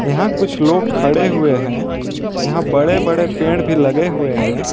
यहां कुछ लोग खड़े हुए हैं यहां बड़े बड़े पेड़ भी लगे हुए हैं।